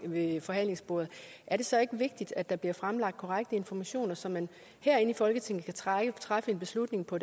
ved forhandlingsbordet er det så ikke vigtigt at der bliver fremlagt korrekte informationer så man herinde i folketinget kan træffe en beslutning på